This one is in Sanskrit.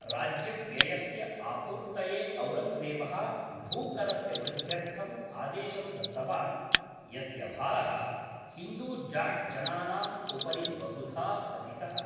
राज्यव्ययस्य आपूर्तये औरङ्गजेबः भूकरस्य वृद्ध्यर्थम् आदेशं दत्तवान्, यस्य भारः हिन्दूजाट्जनानां उपरि बहुधा पतितः।